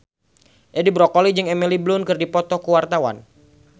Edi Brokoli jeung Emily Blunt keur dipoto ku wartawan